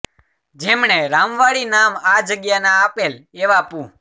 જેમણે રામવાડી નામ આ જગ્યા ને આપેલ એવા પૂ